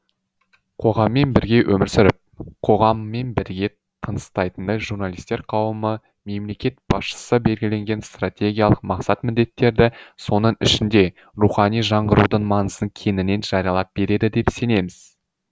қоғаммен бірге өмір сүріп қоғаммен бірге тыныстайтындай журналистер қауымы мемлекет басшысы белгіленген стратегиялық мақсат міндеттерді соның ішінде рухани жаңғырудың маңызын кеңінен жариялап береді деп сенеміз